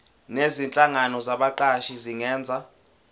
nezinhlangano zabaqashi zingenza